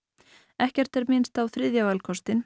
ekkert er minnst á þriðja valkostinn